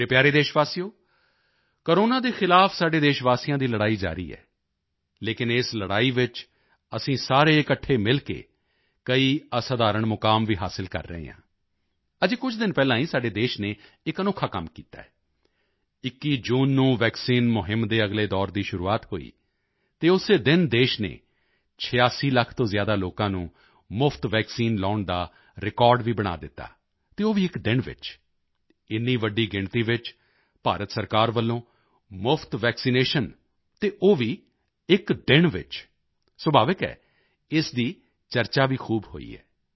ਮੇਰੇ ਪਿਆਰੇ ਦੇਸ਼ਵਾਸੀਓ ਕੋਰੋਨਾ ਦੇ ਖ਼ਿਲਾਫ਼ ਸਾਡੇ ਦੇਸ਼ਵਾਸੀਆਂ ਦੀ ਲੜਾਈ ਜਾਰੀ ਹੈ ਲੇਕਿਨ ਇਸ ਲੜਾਈ ਵਿੱਚ ਅਸੀਂ ਸਾਰੇ ਇਕੱਠੇ ਮਿਲ ਕੇ ਕਈ ਅਸਾਧਾਰਣ ਮੁਕਾਮ ਵੀ ਹਾਸਿਲ ਕਰ ਰਹੇ ਹਾਂ ਅਜੇ ਕੁਝ ਦਿਨ ਪਹਿਲਾਂ ਹੀ ਸਾਡੇ ਦੇਸ਼ ਨੇ ਇਕ ਅਨੋਖਾ ਕੰਮ ਕੀਤਾ ਹੈ 21 ਜੂਨ ਨੂੰ ਵੈਕਸੀਨ ਮੁਹਿੰਮ ਦੇ ਅਗਲੇ ਦੌਰ ਦੀ ਸ਼ੁਰੂਆਤ ਹੋਈ ਅਤੇ ਉਸੇ ਦਿਨ ਦੇਸ਼ ਨੇ 86 ਲੱਖ ਤੋਂ ਜ਼ਿਆਦਾ ਲੋਕਾਂ ਨੂੰ ਮੁਫ਼ਤ ਵੈਕਸੀਨ ਲਗਾਉਣ ਦਾ ਰਿਕਾਰਡ ਵੀ ਬਣਾ ਦਿੱਤਾ ਅਤੇ ਉਹ ਵੀ ਇਕ ਦਿਨ ਵਿੱਚ ਇੰਨੀ ਵੱਡੀ ਗਿਣਤੀ ਵਿੱਚ ਭਾਰਤ ਸਰਕਾਰ ਵੱਲੋਂ ਮੁਫ਼ਤ ਵੈਕਸੀਨੇਸ਼ਨ ਅਤੇ ਉਹ ਵੀ ਇਕ ਦਿਨ ਵਿੱਚ ਸੁਭਾਵਿਕ ਹੈ ਇਸ ਦੀ ਚਰਚਾ ਵੀ ਖੂਬ ਹੋਈ ਹੈ